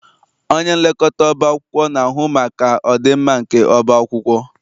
Onyenlekọta ọba akwụkwọ na-ahụ maka ọdịmma nke ọba akwụkwọ.